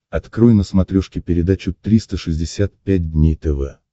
открой на смотрешке передачу триста шестьдесят пять дней тв